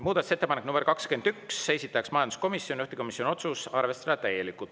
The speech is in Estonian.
Muudatusettepanek nr 21, esitaja majanduskomisjon, juhtivkomisjoni otsus: arvestada täielikult.